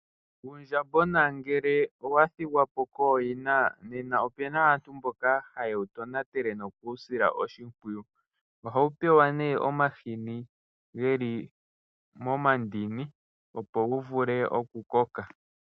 Uundjamboma ngele owa thigwa po kooyina nena opuna aantu mboka haye wu tonatele nokuwu sila oshimpwiyu. Ohawu pewa nee omahini geli momandini opo wu vule oku koka.